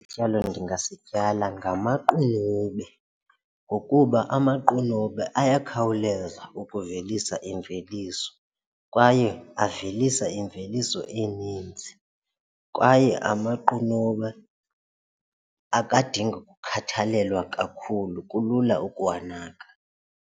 Ityalo endingasityala ngamaqunube ngokuba amaqunube ayakhawuleza ukuvelisa imveliso kwaye avelisa imveliso eninzi kwaye amaqunube akadingi kukhathalelwa kakhulu kulula ukuwanaka.